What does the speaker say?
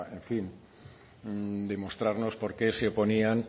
demostrarnos porqué se oponían